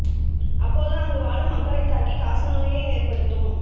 அப்போது அங்கு வாழும் மக்களைத் தாக்கி காச நோயை ஏற்படுத்தும்